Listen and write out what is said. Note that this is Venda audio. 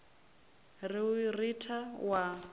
ri u i ritha wa